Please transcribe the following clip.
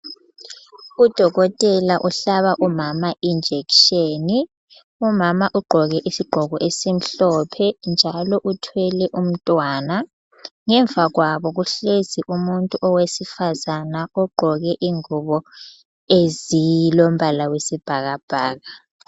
Udokotela uhlaba umama injekisheni. Umama ugqoke isigqoko esimhlophe njalo uthwele umntwana. Ngemva kwabo kuhlezi umuntu owesifazana ogqoke ingubo ezilombala wesibhakabhaka.